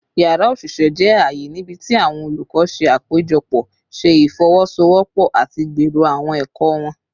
Yara oṣiṣẹ jẹ aaye nibiti awọn olukọ ṣe apejọpọ, ṣe ifowosowopo, ati gbero awọn ẹkọ wọn